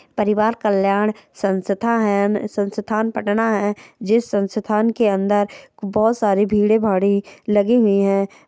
परिवार कल्यान संस्था है संस्थान पटना है जिस संस्थान के अंदर बहुत सारी भिड़े भाड़ी लगी हुई है।